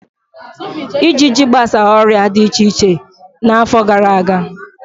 Ịjịjị gbasa ọrịa di iche iche n'afọ gara aga.